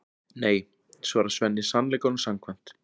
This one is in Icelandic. Nei, svarar Svenni sannleikanum samkvæmt.